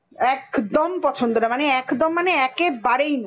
একদম পছন্দ না! মানে একদম মানে একবারেই না!